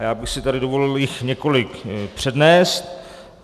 A já bych si tady dovolil jich několik přednést.